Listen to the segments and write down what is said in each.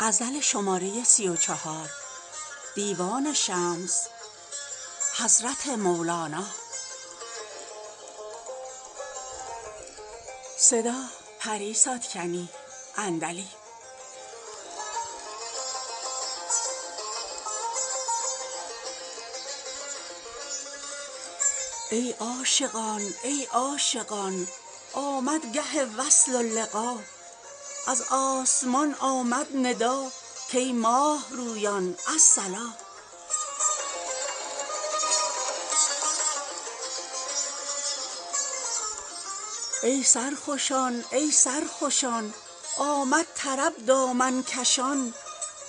ای عاشقان ای عاشقان آمد گه وصل و لقا از آسمان آمد ندا کای ماه رویان الصلا ای سرخوشان ای سرخوشان آمد طرب دامن کشان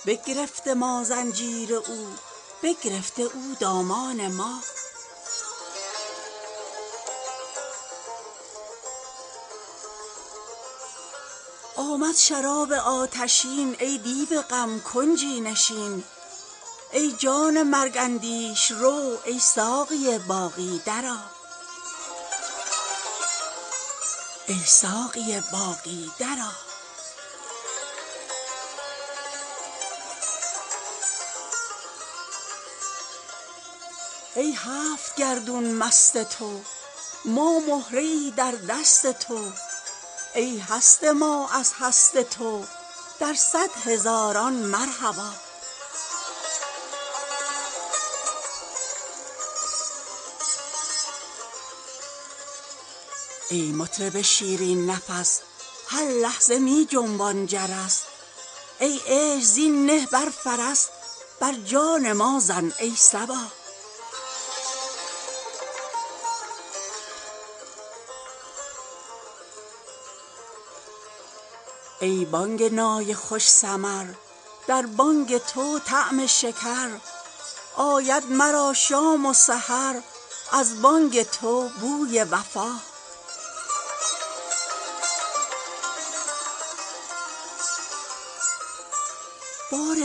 بگرفته ما زنجیر او بگرفته او دامان ما آمد شراب آتشین ای دیو غم کنجی نشین ای جان مرگ اندیش رو ای ساقی باقی درآ ای هفت گردون مست تو ما مهره ای در دست تو ای هست ما از هست تو در صد هزاران مرحبا ای مطرب شیرین نفس هر لحظه می جنبان جرس ای عیش زین نه بر فرس بر جان ما زن ای صبا ای بانگ نای خوش سمر در بانگ تو طعم شکر آید مرا شام و سحر از بانگ تو بوی وفا بار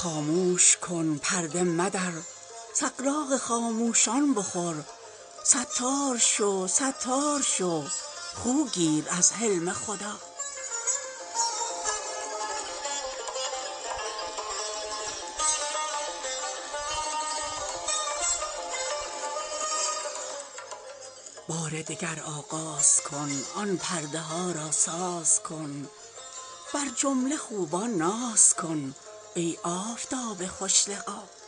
دگر آغاز کن آن پرده ها را ساز کن بر جمله خوبان ناز کن ای آفتاب خوش لقا خاموش کن پرده مدر سغراق خاموشان بخور ستار شو ستار شو خو گیر از حلم خدا